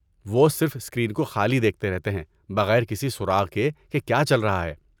وہ صرف اسکرین کو خالی دیکھتے رہتے ہیں بغیر کسی سراغ کے کہ کیا چل رہا ہے۔